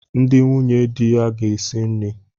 Ndi nwunye di ya ga esi nni.